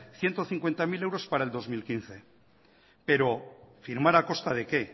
ciento cincuenta mil euros para el dos mil quince pero firmar a costa de qué